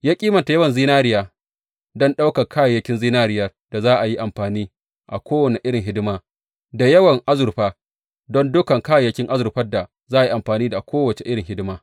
Ya kimanta yawan zinariya don dukan kayayyakin zinariyar da za a yi amfani a kowane irin hidima, da yawan azurfa don dukan kayayyakin azurfan da za a yi amfani a kowace irin hidima.